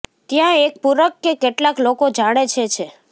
ત્યાં એક પૂરક કે કેટલાક લોકો જાણે છે છે